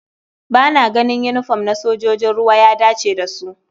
Ba na ganin yinifom na sojojin ruwa ya dace da su.